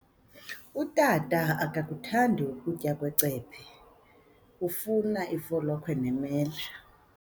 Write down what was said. Utata akakuthandi kutya kwecephe, ufuna ifolokhwe nemela.